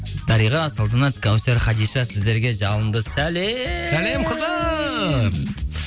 дариға салтанат кәусар хадиша сіздерге жалынды сәлем сәлем қаздар